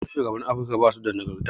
Yawancin shugabannin Afirika basu da nagarta.